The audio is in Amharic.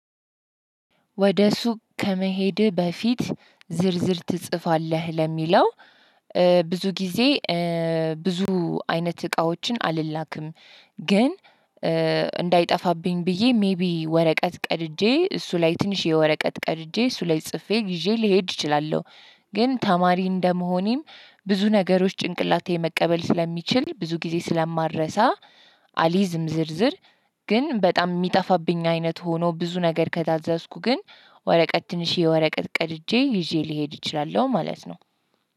ወደ ሱቅ ከመሄድህ በፊት ዝርዝር ትጽፋለህ ለሚለው? ብዙ ጊዜ ብዙ አይነት እቃዎችን አልላክም። ግን እንዳይጠፋብኝ ብዬ ሜይቢ ወረቀት ቀድጄ እሱ ላይ ትንሽየ ወረቀት ቀድጄ እሱ ላይ ጽፌ ይዤ ልሄድ እችላለሁ። ግን ተማሪ እንደመሆኔም ብዙ ነገሮች ጭንቅላቴ መቀበል ስለሚችል ብዙ ጊዜ ስለማረሳ። አሊዝም ዝርዝር ግን በጣም እሚጠፋብኝ አይነት ሆኖ ብዙ ነገር ከታዘዝኩ ግን ወረቀት ትንሽዬ ወረቀት ቀድጄ ይዤ ልሄድ እችላለሁ። ማለት ነው።